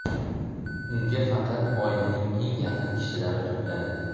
Unga faqat oilaning eng yaqin kishilari to‘planadi.